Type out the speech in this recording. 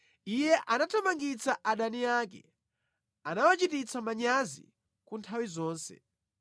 Iye anathamangitsa adani ake; anawachititsa manyazi ku nthawi zonse.